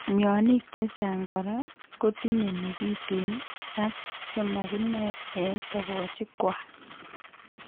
Mionik chechang' kora kotinye nekiten ak chemakinoe eng' togochik kwak